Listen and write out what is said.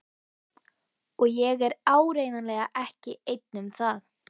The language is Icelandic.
Og ég er áreiðanlega ekki einn um það.